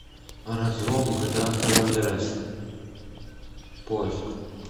разлом гта сан андреас поиск